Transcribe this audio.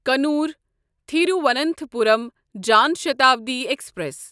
کنور تھیرواننتھاپورم جان شتابڈی ایکسپریس